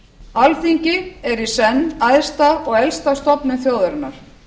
alþingi er í senn æðsta og elsta stofnun þjóðarinnar